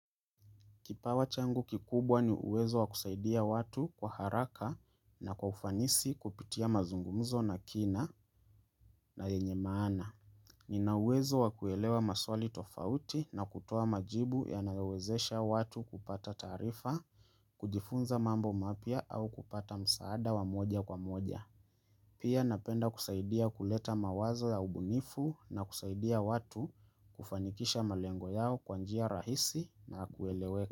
Kipawa changu kikubwa ni uwezo wa kusaidia watu kwa haraka na kwa ufanisi kupitia mazungumzo na kina na yenye maana. Nina uwezo wa kuelewa maswali tofauti na kutoa majibu yanayowezesha watu kupata taarifa, kujifunza mambo mapya au kupata msaada wa moja kwa moja. Pia napenda kusaidia kuleta mawazo ya ubunifu na kusaidia watu kufanikisha malengo yao kwa njia rahisi na kueleweka.